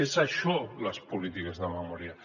són això les polítiques de memòria